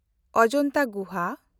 ᱚᱡᱚᱱᱛᱟ ᱜᱩᱦᱟ